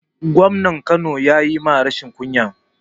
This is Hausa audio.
Gwamnan kano ya ma rashin kunya